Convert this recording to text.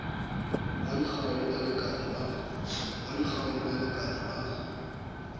wa dikgau le balekane ba